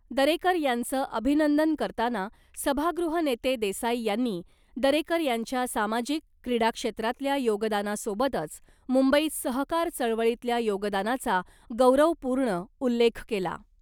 दरेकर यांचं अभिनंदन करताना , सभागृह नेते देसाई यांनी , दरेकर यांच्या सामाजिक , क्रीडा क्षेत्रातल्या योगदानासोबतच मुंबईत सहकार चळवळीतल्या योगदानाचा गौरवपूर्ण उल्लेख केला .